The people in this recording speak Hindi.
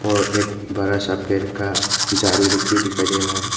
और एक बड़ा सा पेड़ का झाड़ी लुक भी दिखाई दे रहा है।